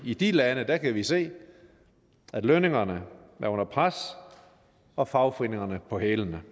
i de lande kan vi se at lønningerne er under pres og fagforeningerne på hælene